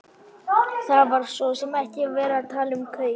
Það var svo sem ekki verið að tala um kaup.